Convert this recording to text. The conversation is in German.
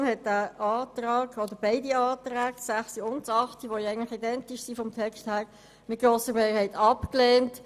Die FiKo hat beide, textlich identischen Anträge zu den Artikeln 6 und 8 mit grosser Mehrheit abgelehnt.